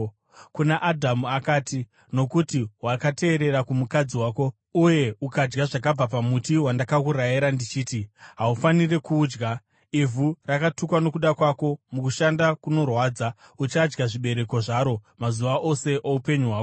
Kuna Adhamu akati, “Nokuti wakateerera kumukadzi wako uye ukadya zvakabva pamuti wandakakurayira ndichiti, ‘Haufaniri kuudya,’ “Ivhu ratukwa nokuda kwako; mukushanda kunorwadza, uchadya zvibereko zvaro mazuva ose oupenyu hwako.